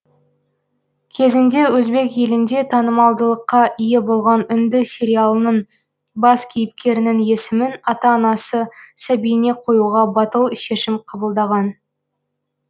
кезінде өзбек елінде танымалдылыққа ие болған үнді сериялының бас кейіпкерінің есімін ата анасы сәбиіне қоюға батыл шешім қабылдаған